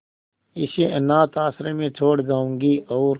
इसे अनाथ आश्रम में छोड़ जाऊंगी और